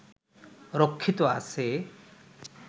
রক্ষিত আছে